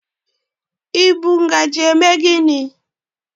I bụ ngajị eme gini?